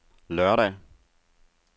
lørdag